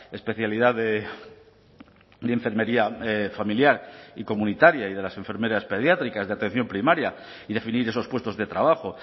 especialidad de enfermería familiar y comunitaria y de las enfermeras pediátricas de atención primaria y definir esos puestos de trabajo